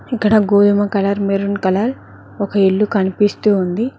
ఇక్కడ గోధుమ colour maroon colour ఒక ఇల్లు కనిపిస్తూ ఉంది.